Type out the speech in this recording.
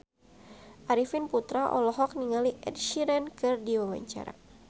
Arifin Putra olohok ningali Ed Sheeran keur diwawancara